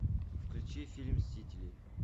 включи фильм мстители